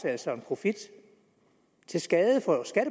altså en profit til skade